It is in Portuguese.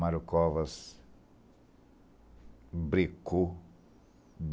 Mario Covas... brecou.